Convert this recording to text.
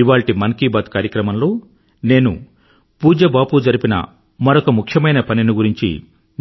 ఇవాళ్టి మన్ కీ బాత్ కార్యక్రమంలో నేను పూజ్య బాపూ జరిపిన మరొక ముఖ్యమైన పనిని గురించి